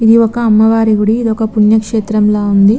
ఇది ఒక అమ్మవారి గుడి ఇది ఒక పున్న క్రేస్తం ల వుంది.